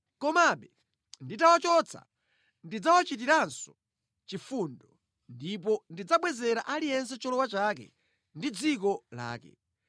Komabe nditawachotsa, ndidzawachitiranso chifundo, ndipo ndidzabwezera aliyense cholowa chake ndi dziko lake.